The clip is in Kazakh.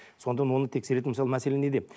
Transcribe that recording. сонда оны тексеретін мәселе неде